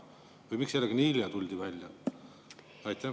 Või miks sellega nii hilja tuldi välja?